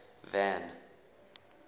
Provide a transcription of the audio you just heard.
van